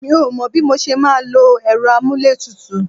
Mi ò mọ bí mo ṣe máa lò èrò amuletutu